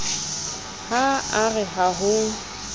ha a re ha ho